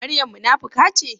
Maryam munafuka ce?